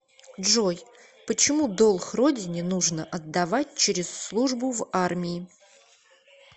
джой почему долг родине нужно отдавать через службу в армии